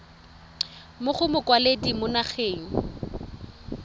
mo go mokwaledi mo nageng